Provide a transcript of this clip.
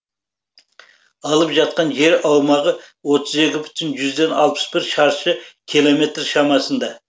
алып жатқан жер аумағы отыз екі бүтін жүзден алпыс бір шаршы километр шамасында